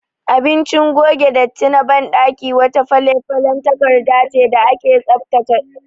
Abinci gogen datti na baɗaki wata falefalen takardace da ake tsaftace ɗuwawu da kewayensu